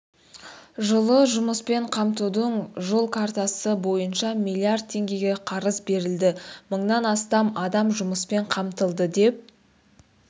жылы жұмыспен қамтудың жол картасы бойынша миллиард теңгеге қарыз берілді мыңнан астам адам жұмыспен қамтылды деп